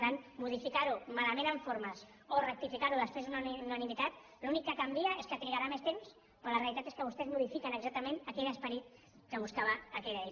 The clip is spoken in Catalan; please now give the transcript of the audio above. per tant modificar ho malament en formes o rectificar ho després per unanimitat l’únic que canvia és que trigarà més temps però la realitat és que vostès modifiquen exactament aquell esperit que buscava aquella llei